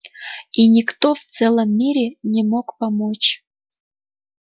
и никто в целом мире не мог помочь